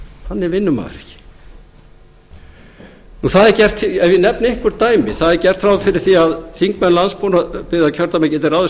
þannig vinnur maður ekki ef ég nefni einhver dæmi það er gert ráð fyrir því að þingmenn landsbyggðarkjördæma geti ráðið